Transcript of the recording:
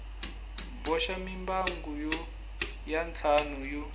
boxa mimbangu ya ntlhanu yo